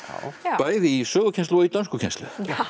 bæði í sögukennslu og í dönskukennslu